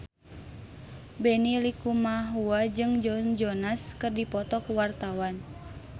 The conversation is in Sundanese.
Benny Likumahua jeung Joe Jonas keur dipoto ku wartawan